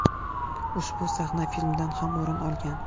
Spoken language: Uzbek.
Ushbu sahna filmdan ham o‘rin olgan.